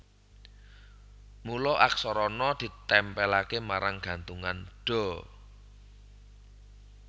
Mula Aksara Na ditèmpèlaké marang gantungan Da